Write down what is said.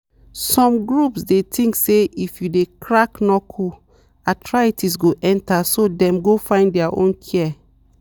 some groups dey think say if you dey crack knuckle arthritis go enter so dem go find their own care.